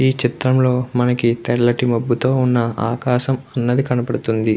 ఈ చిత్రంలో మనకి తెల్లటి మొబ్బుతో ఉన్న ఆకాశం అన్నది కనబడుతుంది.